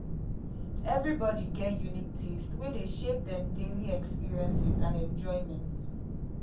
everybody get unique taste wey dey shape dem daily experiences and enjoyment.